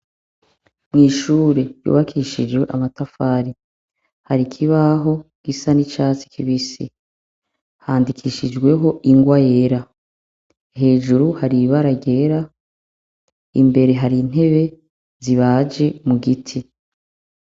Mw’ishure ry’ubakishijwe amatafari hari ikibaho gisa n’icatsi kibisi, handikishijweho ingwa yera. Hejuru hari ibara ryera imbere hari intebe zibaje mu giti.